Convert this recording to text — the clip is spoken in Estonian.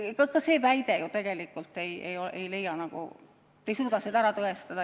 Ka seda väidet te tegelikult ei suuda ära tõestada.